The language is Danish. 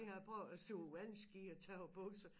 Det har jeg prøvet at stå på vandski og tabe bukser